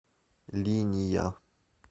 линия